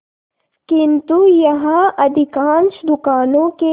किंतु यहाँ अधिकांश दुकानों के